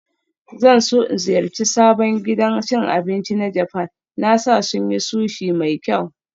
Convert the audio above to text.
Zan so in ziyarci sabon gidan cin abinci na Japan, na sa sun yi Sushi mai kyau